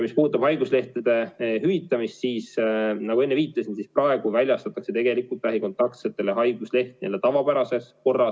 Mis puudutab haiguslehtede hüvitamist, siis nagu enne viitasin, praegu väljastatakse lähikontaktsetele haiguslehti nii-öelda tavapärases korras.